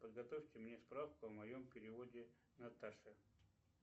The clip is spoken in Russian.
подготовьте мне справку о моем переводе наташе